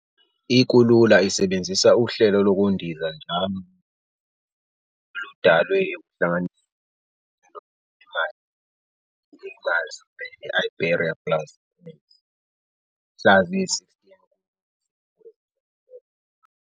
I-Kulula isebenzisa uhlelo lokundiza njalo lwe-Avios, oludalwe ekuhlanganisweni kwezinhlelo ze- Air Miles, i-BA Miles kanye ne-Iberia Plus Points ngomhla ziyi-16 kuLwezi wezi-2011.